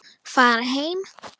Fara heim.